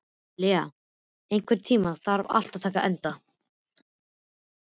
Lea, einhvern tímann þarf allt að taka enda.